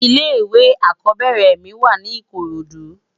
Ilè iwé ákòbèrè mi wá ni ikorodu